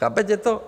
Chápete to?